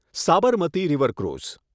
Sabarmati river ફ્રૂઝ